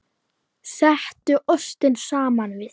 Settu ostinn saman við.